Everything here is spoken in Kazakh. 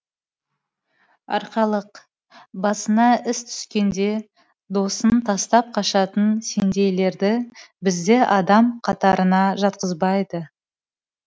арқалық басына іс түскенде досын тастап қашатын сендейлерді бізде адам қатарына жатқызбайды